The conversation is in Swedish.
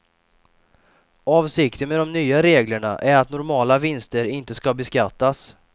Avsikten med de nya reglerna är att normala vinster inte ska beskattas.